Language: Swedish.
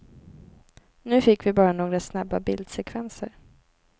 Nu fick vi bara några snabba bildsekvenser.